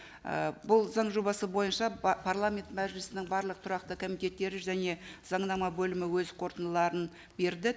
і бұл заң жобасы бойынша парламент мәжілісінің барлық тұрақты комитеттері және заңнама бөлімі өз қорытындыларын берді